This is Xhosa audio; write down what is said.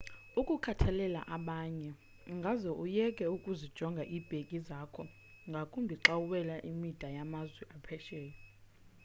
ukukhathalela abanye ungaze uyeke ukuzijonga iibhegi zakho ngakumbi xa uwela imida yamazwe aphesheya